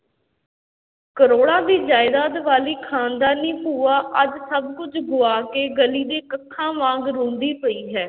ਕਰੌੜਾਂ ਦੀ ਜਾਇਦਾਦ ਵਾਲੀ ਖਾਨਦਾਨੀ ਭੂਆ ਅੱਜ ਸਭ ਕੁਛ ਗੁਆ ਕੇ ਗਲੀ ਦੇ ਕੱਖਾਂ ਵਾਂਗ ਰੁਲਦੀ ਪਈ ਹੈ।